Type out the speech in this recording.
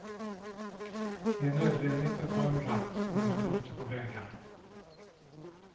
Det är nödvändigt att ha en ratt när man är ute på vägarna.